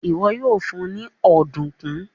iwọ yoo fun ní Ọ̀dùnkún.